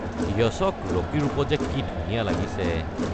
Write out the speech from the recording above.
য়শক ৰকী ৰূপত কি যে ধুনীয়া লাগিছে।